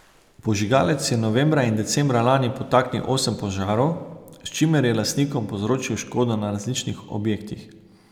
Požigalec je novembra in decembra lani podtaknil osem požarov, s čimer je lastnikom povzročil škodo na različnih objektih.